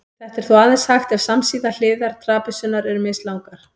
Þetta er þó aðeins hægt ef samsíða hliðar trapisunnar eru mislangar.